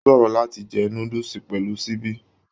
O sòrò láti jẹ núdúsí pẹlú síbi.